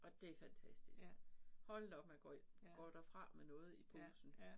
Og det fantastisk. Hold da op man går går derfra med noget i posen